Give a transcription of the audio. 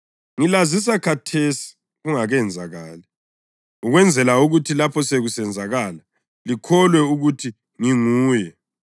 Ngilazisa khathesi kungakenzakali, ukwenzela ukuthi lapho sekusenzakala, likholwe ukuthi ngiNguye.